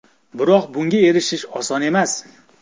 Biroq bunga erishish oson emas.